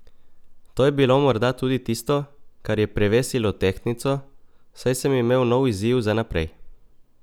To je bilo morda tudi tisto, kar je prevesilo tehtnico, saj sem imel nov izziv za naprej.